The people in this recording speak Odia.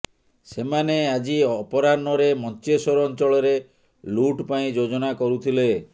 ସେମାନେ ଆଜି ଅପରାହ୍ନରେ ମଞ୍ଚେଶ୍ୱର ଅଞ୍ଚଳରେ ଲୁଟ୍ ପାଇଁ ଯୋଜନା କରୁଥିଲେ